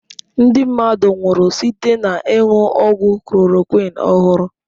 Ndị mmadụ nwụrụ site n'ịṅụ ọgwụ chloroquine ọhụrụ.